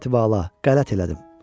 Həzrəti Vala, qələt elədim.